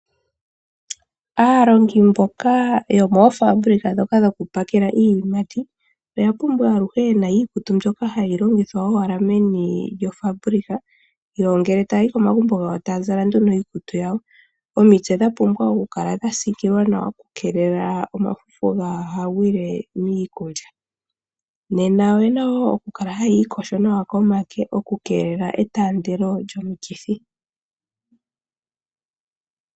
Aalongi yomoofaabulika dhoku pakela iiyimati oya pumbwa aluhe yena iikutu mbyoka hayi longithwa meni lyo fabulika. Ngele tayayi komagumbo gayo taya zala iikutu yayo. Omitse odha pumbwa oku kala dhasiikilwa nawa, oku keelela omafufu gaaha gwile miikulya. Oyena okukala haya ikosho nawa koonyala opo ku keelelwe etaandelo lyomikithi.